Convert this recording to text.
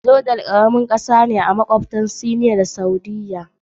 Jordan karamar kasa ce da ke makwabtaka da Syria a arewa, Iraki a gabas, Saudiyya..